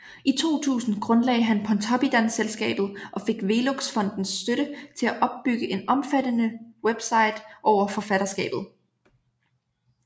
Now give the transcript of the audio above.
I 2000 grundlagde han Pontoppidan Selskabet og fik Velux Fondens støtte til at opbygge en omfattende website over forfatterskabet